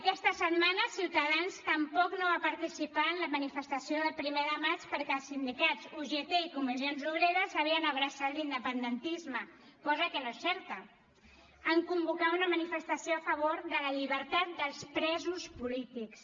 aquesta setmana ciutadans tampoc no va participar en la manifestació del primer de maig perquè els sindicats ugt i comissions obreres havien abraçat l’independentisme cosa que no és certa en convocar una manifestació a favor de la llibertat dels presos polítics